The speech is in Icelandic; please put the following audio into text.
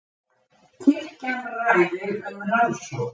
Kirkjan ræðir um rannsókn